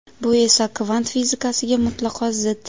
Bu esa kvant fizikasiga mutlaqo zid.